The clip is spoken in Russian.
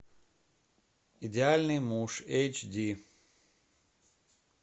идеальный муж эйч ди